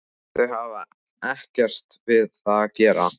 Þau hafa ekkert við það að gera